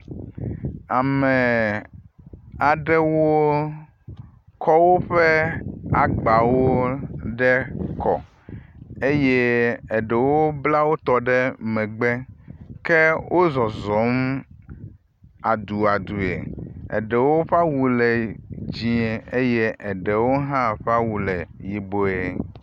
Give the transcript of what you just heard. amee aɖewo kɔ́ wóƒe agbawo ɖe kɔ eye eɖewo bla wótɔ ɖe megbe ke wózɔzɔm aduadue wóƒawu le dzĩe ye ɖewo hã ƒe awu le yiboe